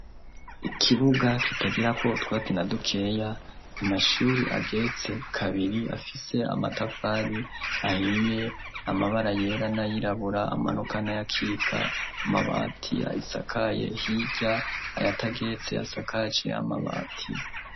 Ikibuga kitagirako utwatsi na dukeya, amashuri ageretse kabiri, afise amatafari ahiriye, amabara yera n'ayirabura amanuka n'ayakika ,amabati ayisakaye hirya ayatageretse asakaje amabati.